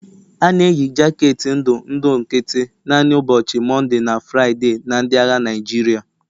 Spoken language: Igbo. A na-eyi jaketi ndụ ndụ nkịtị naanị n'ụbọchị Mọnde na Fraịde na ndị agha Naịjirịa.